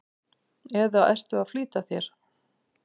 eða ertu að flýta þér?